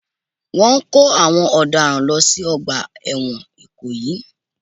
Wọ́n ń kó àwọn ọ̀daràn lọ sí Ọgbà ẹ̀wọ̀n ikoyi